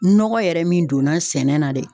Nɔgɔ yɛrɛ min donna sɛnɛ na dɛ